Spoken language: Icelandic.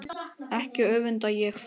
Ekki öfunda ég þá